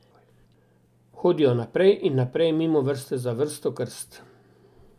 Hodijo naprej in naprej mimo vrste za vrsto krst.